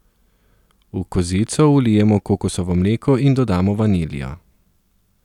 V kozico vlijemo kokosovo mleko in dodamo vaniljo.